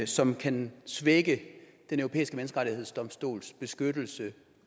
som kan svække den europæiske menneskerettighedsdomstols beskyttelse